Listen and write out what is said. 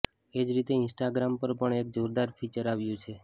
એ જ રીતે ઈન્સ્ટાગ્રામ પર પણ એક જોરદાર ફિચર આવ્યું છે